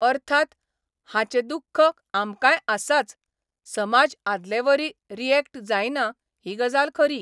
अर्थात, हाचें दुख्ख आमकांय आसाच समाज आदलेवरी रियॅक्ट जायना ही गजाल खरी.